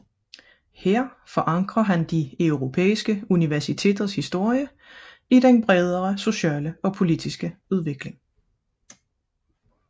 Her forankrer han de europæiske universiteters historie i den bredere sociale og politiske udvikling